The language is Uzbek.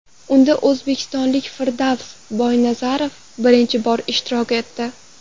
Unda o‘zbekistonlik Firdavs Boynazarov birinchi bor ishtirok etdi.